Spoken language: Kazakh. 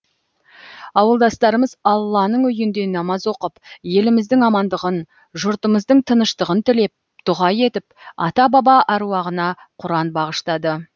ауылдастарымыз алланың үйінде намаз оқып еліміздің амандығын жұртымыздың тыныштығын тілеп дұға етіп ата баба әруағына құран бағыштады